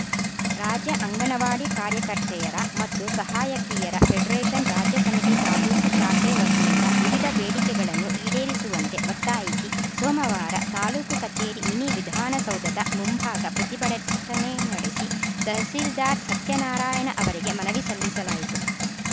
ರಾಜ್ಯ ಅಂಗನವಾಡಿ ಕಾರ್ಯಕರ್ತೆಯರ ಮತ್ತು ಸಹಾಯಕಿಯರ ಫೆಡರೇಷನ್‌ ರಾಜ್ಯ ಸಮಿತಿ ತಾಲೂಕು ಶಾಖೆ ವತಿಯಿಂದ ವಿವಿಧ ಬೇಡಿಕೆಗಳನ್ನು ಈಡೇರಿಸುವಂತೆ ಒತ್ತಾಯಿಸಿ ಸೋಮವಾರ ತಾಲೂಕು ಕಚೇರಿ ಮಿನಿ ವಿಧಾನಸೌಧದ ಮುಂಭಾಗ ಪ್ರತಿಭಟನೆ ನಡೆಸಿ ತಹಸೀಲ್ದಾರ್‌ ಸತ್ಯನಾರಾಯಣ ಅವರಿಗೆ ಮನವಿ ಸಲ್ಲಿಸಲಾಯಿತು